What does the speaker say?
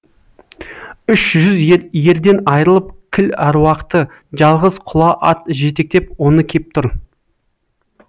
үш жүз ерден айрылып кіл әруақты жалғыз құла ат жетектеп оны кеп тұр